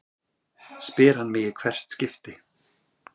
spyr hann mig í hvert skipti.